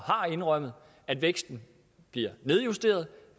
har indrømmet at væksten bliver nedjusteret